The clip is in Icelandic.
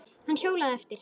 Hann hjólaði eftir